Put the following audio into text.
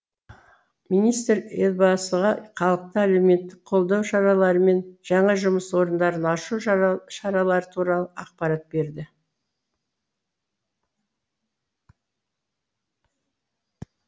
министр елбасыға халықты әлеуметтік қолдау шаралары мен жаңа жұмыс орындарын ашу шаралары туралы ақпарат берді